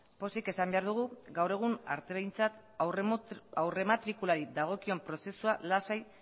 pozik esan behar dugu gaur egun aurrematrikulari dagokion prozesua lasai